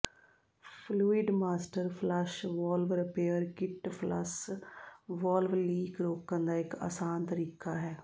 fluid master flush valve repair kit flush valve leak ਰੋਕਣ ਦਾ ਇਕ ਆਸਾਨ ਤਰੀਕਾ ਹੈ